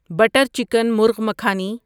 butter chicken murgh makhani